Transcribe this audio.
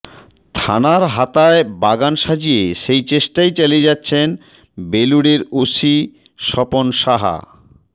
থানার হাতায় বাগান সাজিয়ে সেই চেষ্টাই চালিয়ে যাচ্ছেন বেলুড়ের ওসি স্বপন সাহা